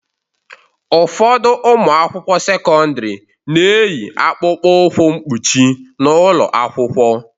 Ụfọdụ ụmụ akwụkwọ sekọndrị na-eyi akpụkpọ ụkwụ mkpuchi n'ụlọ akwụkwọ.